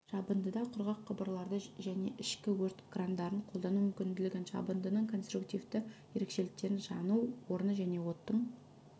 жабындыда құрғақ құбырларды және ішкі өрт крандарын қолдану мүмкінділігін жабындының конструктивты ерекшеліктерін жану орны және оттың